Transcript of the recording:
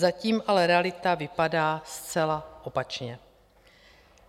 Zatím ale realita vypadá zcela opačně.